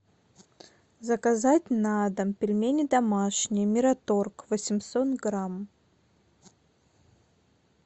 заказать на дом пельмени домашние мираторг восемьсот грамм